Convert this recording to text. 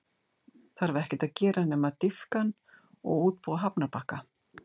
Þarf ekkert að gera nema að dýpka hann og útbúa hafnarbakka.